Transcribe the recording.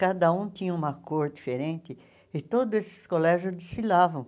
Cada um tinha uma cor diferente e todos esses colégios desfilavam.